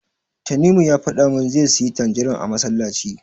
Tanimu ya faɗa min zai siyi tanjirin a masallaci.